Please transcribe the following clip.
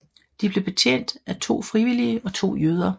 De blev betjent af to frivillige og to jøder